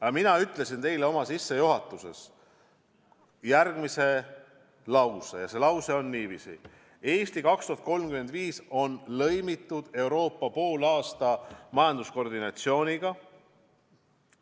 Aga mina ütlesin teile täna sissejuhatuses järgmised laused: "Eesti 2035" on lõimitud Euroopa poolaasta majanduskoordinatsiooniga.